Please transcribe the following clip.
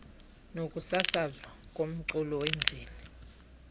nokusasazwa komculo wemveli